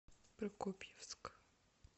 прокопьевск